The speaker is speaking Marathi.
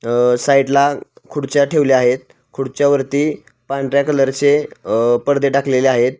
अ साईड ला खुर्च्या ठेवल्या आहेत खुर्च्यावरती पांढऱ्या कलरचे पडदे टाकलेले आहेत.